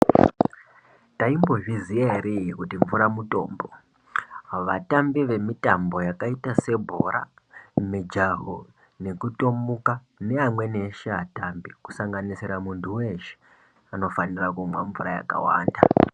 Taimbozviziva here kuti mvura mutombo vatambi vemitambo yakati sebhora mijaho nekutomuka neamweni eshe atambi kusanganisira muntu weshe anofanira kumwa mvura yakawanda.